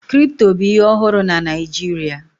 Kripto bụ ihe ọhụrụ na Naịjirịa